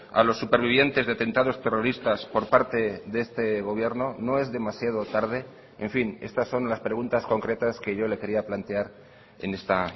a los supervivientes de atentados terroristas por parte de este gobierno no es demasiado tarde en fin estas son las preguntas concretas que yo le quería plantear en esta